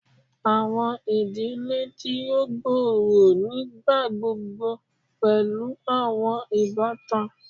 Awọn idile ti o gbooro nigbagbogbo pẹlu awọn ibatan